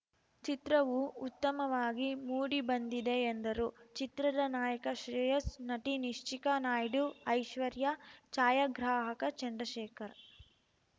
ಚಿತ್ರವೂ ಉತ್ತಮವಾಗಿ ಮೂಡಿ ಬಂದಿದೆ ಎಂದರು ಚಿತ್ರದ ನಾಯಕ ಶ್ರೇಯಸ್‌ ನಟಿ ನಿಶ್ಚಿಕಾ ನಾಯ್ಡು ಐಶ್ವರ್ಯ ಛಾಯಾಗ್ರಾಹಕ ಚಂದ್ರಶೇಖರ